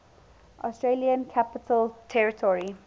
australian capital territory